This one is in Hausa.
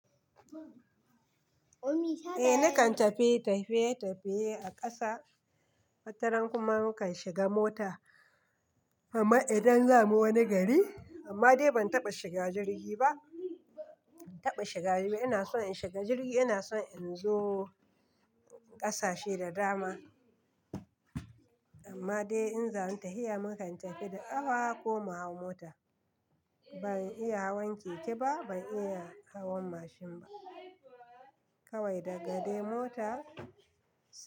Eh nakan tafiye tafiye tafiye a ƙasa, wataran kuma mukan shiga mota. Amma idan zamu wani gari, amma dai ban taɓa shiga jirgi ba. Ba, ban taɓa shiga jirgi ba. Ina so in shiga jirgi, ina so in zo ƙasashe da dama amma dai in za a yi ta hiya mukan tafi da awa ko mu hau mota. Ban iya hawan keke ba, ban iya hawan mashin ba kawai daga dai mota.